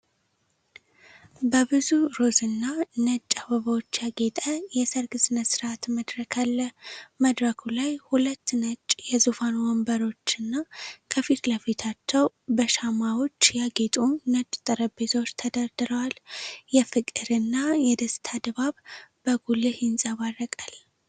በብዙ ሮዝና ነጭ አበባዎች ያጌጠ የሠርግ ሥነ ሥርዓት መድረክ አለ። መድረኩ ላይ ሁለት ነጭ የዙፋን ወንበሮችና ከፊት ለፊታቸው በሻማዎች ያጌጡ ነጭ ጠረጴዛዎች ተደርድረዋል። የፍቅርና የደስታ ድባብ በጉልህ ይንጸባረቃል።